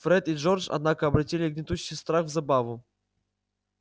фред и джордж однако обратили гнетущий страх в забаву